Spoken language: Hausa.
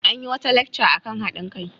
An yi wata lacca kan haɗin kai.